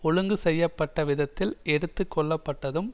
ஒழுங்கு செய்ய பட்ட விதத்தில் எடுத்து கொள்ளப்பட்டதும்